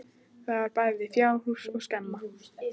Þar var bæði fjárhús og skemma.